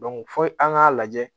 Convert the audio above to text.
fo an k'a lajɛ